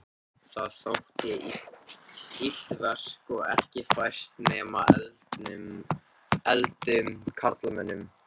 Það þótti illt verk og ekki fært nema efldum karlmönnum.